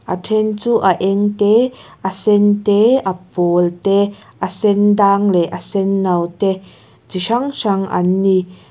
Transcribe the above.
a then chu a eng te a sen te a pawl te a sen dâng leh a senno te chi hrang hrang an ni.